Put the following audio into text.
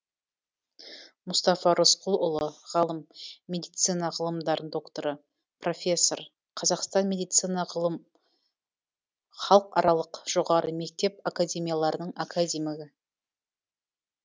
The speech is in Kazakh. мұстафа рысқлұлы ғалым медицина ғылымдарының докторы профессор қазақстан медицина ғылым халықаралық жоғары мектеп академияларының академигі